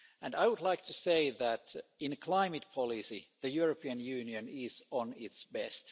I would like to say that in terms of climate policy, the European Union is at its best.